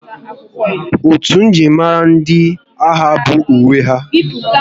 Otu njirimara ndị agha bụ uwe ha